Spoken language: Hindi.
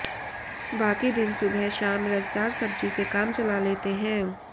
बाकी दिन सुबह शाम रसदार सब्ज़ी से काम चला लेते हैं